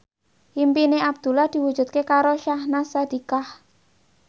impine Abdullah diwujudke karo Syahnaz Sadiqah